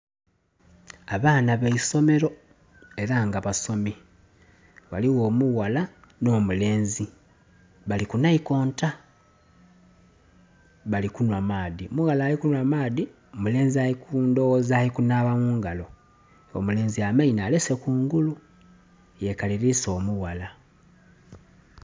Abaana ba isomero ela nga basomi. Ghaligho omuwala n'omulenzi bali ku naikonto bali kunhwa maadhi. Omuwala ali kunhwa maadhi omulenzi ndhoghoza ali kunaaba mu ngalo, omulenzi amaino alese kungulu yekaliriisa omuwala